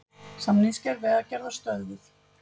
Samningsgerð Vegagerðar stöðvuð